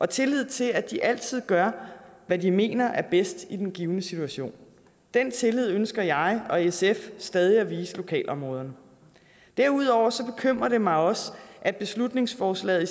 tillid til at de altid gør hvad de mener er bedst i den givne situation den tillid ønsker jeg og sf stadig at vise lokalområderne derudover bekymrer det mig også at beslutningsforslaget i